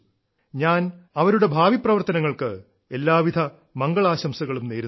ഞാൻ ഞാൻ അവരുടെ ഭാവിപ്രവർത്തനങ്ങൾക്ക് എല്ലാവിധ മംഗളാശംസകളും നേരുന്നു